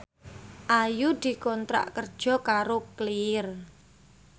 Ayu dikontrak kerja karo Clear